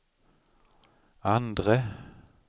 andre